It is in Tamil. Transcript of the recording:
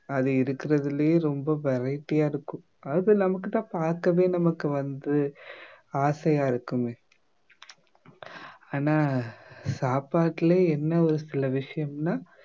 அது இருக்கிறதிலேயே ரொம்ப variety யா இருக்கும் அது நமக்கு தான் பார்க்கவே நமக்கு வந்து ஆசையா இருக்குமே ஆனா சாப்பாட்டுல என்ன ஒரு சில விஷயம்னா